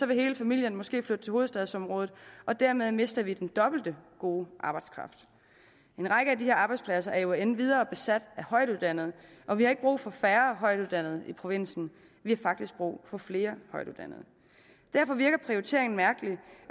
vil hele familien måske flytte til hovedstadsområdet og dermed mister vi den dobbelte gode arbejdskraft en række af disse arbejdspladser er jo endvidere besat af højtuddannede og vi har ikke brug for færre højtuddannede i provinsen vi har faktisk brug for flere højtuddannede derfor virker prioriteringen mærkelig